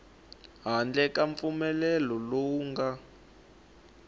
handle ka mpfumelelo lowu nga